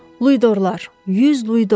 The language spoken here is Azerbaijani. Luidorlar, 100 luidor.